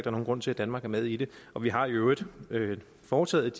er nogen grund til at danmark er med i det og vi har i øvrigt foretaget